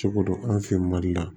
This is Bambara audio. Cogo don an fɛ yen mali la